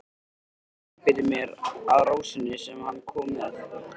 Ég einbeiti mér að rósinni sem hann kom með.